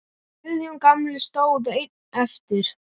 Guðjón gamli stóð einn eftir.